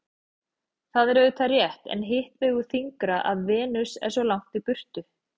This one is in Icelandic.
Það er auðvitað rétt en hitt vegur þyngra að Venus er svo langt í burtu.